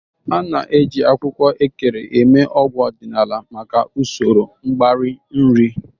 A na-eji akwụkwọ Ekere eme ọgwụ ọdịnala maka usoro mgbari nri.